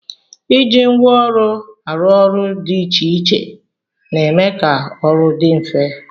Iji ngwa ọrụ arụ ọrụ dị iche iche na-eme ka ọrụ dị mfe